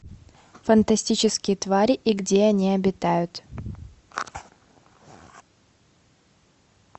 фантастические твари и где они обитают